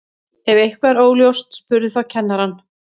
ef eitthvað er óljóst spurðu þá kennarann